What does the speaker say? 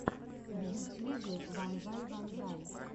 в ютьюбе вонзай вонзай